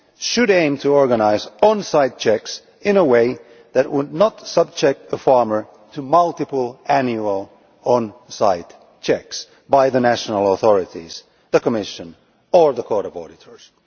should aim to organise on site checks in a way that would not subject the farmer to multiple annual on site checks by the national authorities, the Commission or the Court of Auditors.